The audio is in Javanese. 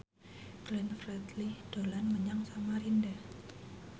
Glenn Fredly dolan menyang Samarinda